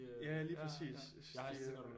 Ja lige præcis det øh